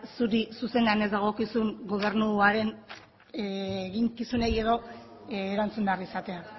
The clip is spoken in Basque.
zuri zuzenean ez dagokizun gobernuaren eginkizunei edo erantzun behar izatea